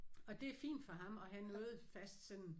Og det er fint for ham og han møder fast sådan